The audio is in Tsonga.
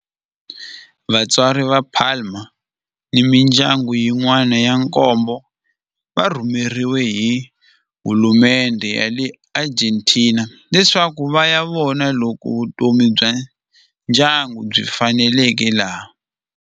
Vatswari va Palma ni mindyangu yin'wana ya nkombo va rhumeriwe hi hulumendhe ya le Argentina leswaku va ya vona loko vutomi bya ndyangu byi faneleka laha.